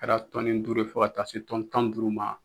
Kɛra tɔni duuru ye fɔ ka taa se tɔni tan ni duuru ma.